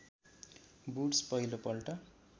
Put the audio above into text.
woods पहिलो पल्ट